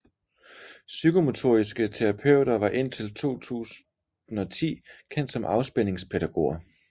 Psykomotoriske terapeuter var indtil 2010 kendt som afspændingspædagoger